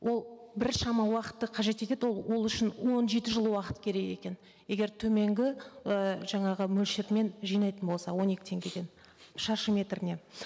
ол біршама уақытты қажет етеді ол ол үшін он жеті жыл уақыт керек екен егер төменгі ы жаңағы мөлшермен жинайтын болса он екі теңгеден шаршы метрінен